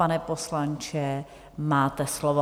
Pane poslanče, máte slovo.